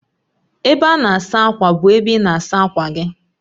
Ebe a na-asa ákwà bụ ebe ị na-asa akwa gị